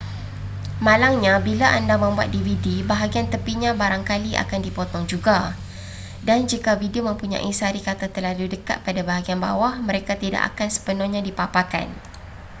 malangnya bila anda membuat dvd bahagian tepinya barangkali akan dipotong juga dan jika video mempunyai sari kata terlalu dekat pada bahagian bawah mereka tidak akan sepenuhnya dipaparkan